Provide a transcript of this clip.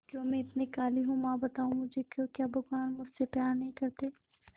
क्यों मैं इतनी काली हूं मां बताओ मुझे क्यों क्या भगवान मुझसे प्यार नहीं करते